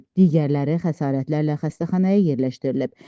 Digərləri xəsarətlərlə xəstəxanaya yerləşdirilib.